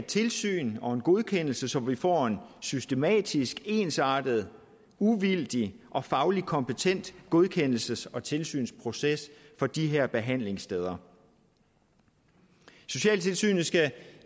tilsyn og godkendelse så vi får en systematisk ensartet uvildig og fagligt kompetent godkendelses og tilsynsproces for de her behandlingssteder socialtilsynet skal